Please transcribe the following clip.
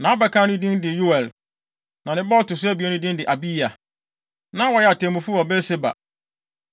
Nʼabakan no din de Yoel, na ne ba a ɔto so abien no din de Abiya. Na wɔyɛ atemmufo wɔ Beer-Seba.